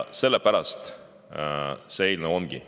Sellepärast see eelnõu ongi.